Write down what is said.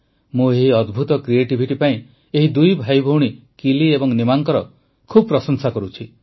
ମୁଁ ଏହି ଅଦ୍ଭୁତ କ୍ରିଏଟିଭିଟି ପାଇଁ ଏହି ଦୁଇ ଭାଇଭଉଣୀ କିଲି ଏବଂ ନିମାଙ୍କର ବହୁ ପ୍ରଶଂସା କରୁଛି